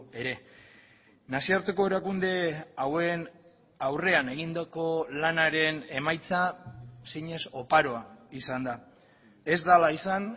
ere nazioarteko erakunde hauen aurrean egindako lanaren emaitza zinez oparoa izan da ez dela izan